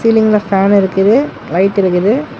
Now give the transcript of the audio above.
சீலிங்ல ஃபேன் இருக்குது லைட் இருக்குது.